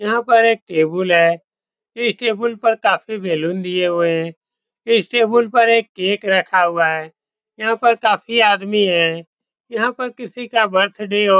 यह पर एक टेबुल है। इस टेबुल पर काफी बलून दिए हुए है। इस टेबुल पर एक केक रखा हुवा है। यहाँ पर काफी आदमी है। यहाँ पर किसी का बर्थडे हो --